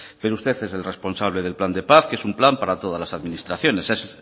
pero usted es el responsable del plan de paz que es un plan para todas las administraciones es